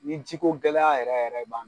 Ni ji ko gɛlɛya yɛrɛ yɛrɛ b'an